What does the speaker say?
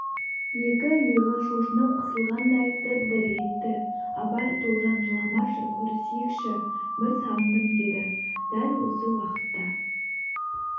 екі иығы шошынып қысылғандай дір-дір етті абай тоғжан жыламашы көрісейікші бір сағындым деді дәл осы уақытта